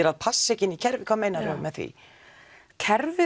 að passa ekki inn í kerfið hvað meinar þú með því kerfið